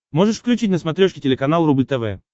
можешь включить на смотрешке телеканал рубль тв